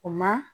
O ma